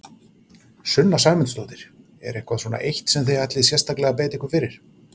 Sunna Sæmundsdóttir: Er eitthvað svona eitt sem þið ætlið sérstaklega að beita ykkur fyrir?